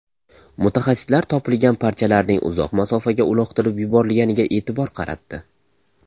Mutaxassislar topilgan parchalarning uzoq masofaga uloqtirib yuborilganiga e’tibor qaratdi.